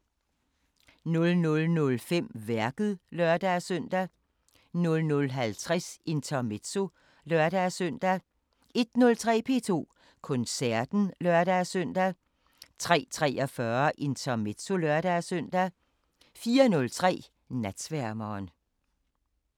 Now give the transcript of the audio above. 00:05: Værket (lør-søn) 00:50: Intermezzo (lør-søn) 01:03: P2 Koncerten (lør-søn) 03:43: Intermezzo (lør-søn) 04:03: Natsværmeren